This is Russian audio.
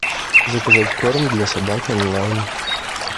заказать корм для собак онлайн